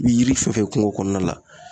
I bi yiri fɛn fɛn ye kungo kɔnɔna la